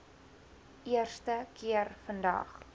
eerste keer vandag